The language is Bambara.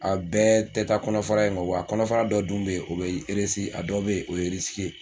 A bɛɛ tɛ taa kɔnɔfara in kɔ wa kɔnɔfara dɔ dun bɛ yen o bɛ a dɔw bɛ yen o ye ye